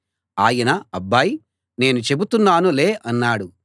ఆయన అబ్బాయ్ నేను చెబుతున్నాను లే అన్నాడు